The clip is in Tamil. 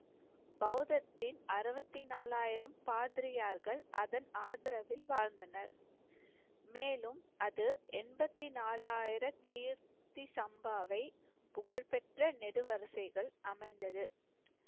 பௌத்தத்தின் அறுபத்தி நாலாயிரம் பாதிரியார்கள் அதன் ஆதரவில் வாழ்ந்தனர். மேலும் அது எண்பத்தி நாலாயிர கீர்த்தி சம்பாவை புகழ்பெற்ற நெடு வரிசைகள் அமைந்தது.